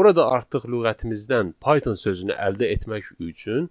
Burada artıq lüğətimizdən Python sözünü əldə etmək üçün